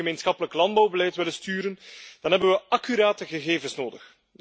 Als we het gemeenschappelijk landbouwbeleid willen sturen, dan hebben we accurate gegevens nodig.